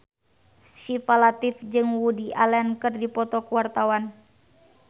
Syifa Latief jeung Woody Allen keur dipoto ku wartawan